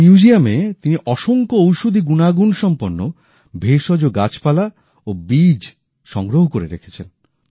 এই মিউজিয়ামে তিনি অসংখ্য ঔষধি গুণাগুণ সম্পন্ন ভেষজ গাছপালা ও বীজ সংগ্রহ করে রেখেছেন